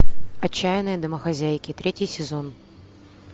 отчаянные домохозяйки третий сезон